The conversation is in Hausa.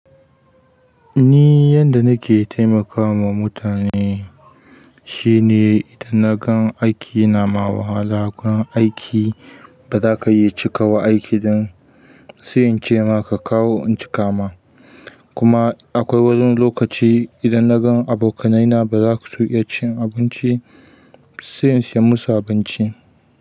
Ni yadda nake taimakawa mutane shine idan na gan aiki nama wahala, a gurin aiki bazaka iya cikawa aiki ɗin, sai ince ma ka kawo in cika ma. Kuma akwai wani lokaci idan na gan abokanai na bazasu iya cin abinci, sai in saya musu abinci.